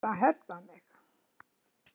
Ég varð að herða mig.